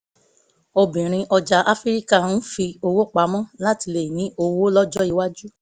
obìnrin ọjà áfíríkà ń fi owó pamọ́ láti lè ní owó lọ́jọ́ iwájú